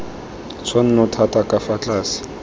tshwanno thata ka fa tlase